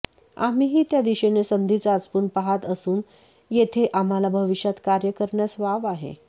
आम्हीही त्या दिशेने संधी चाचपून पाहात असून येथे आम्हाला भविष्यात कार्य करण्यास वाव आहे